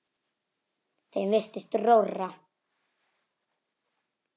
Þeim virtist rórra.